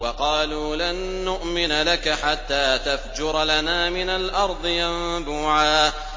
وَقَالُوا لَن نُّؤْمِنَ لَكَ حَتَّىٰ تَفْجُرَ لَنَا مِنَ الْأَرْضِ يَنبُوعًا